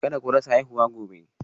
Kada ku rasa haihuwa gobe